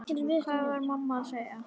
Hvað var mamma að segja?